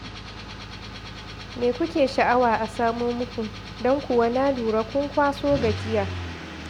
Me kuke sha'awa a samo muku, don kuwa na lura kun kwaso gajiya.